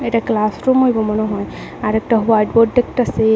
এটা ক্লাসরুম হইবো মনে হয় আর একটা হোয়াইট বোর্ড দেখতাসি।